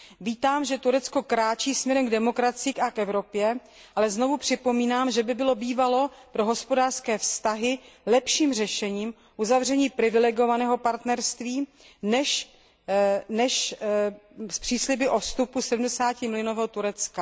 Vítám, že Turecko kráčí směrem k demokracii a k Evropě, ale znovu připomínám, že by bylo bývalo pro hospodářské vztahy lepším řešením uzavření privilegovaného partnerství než přísliby o vstupu sedmdesátimilionového Turecka.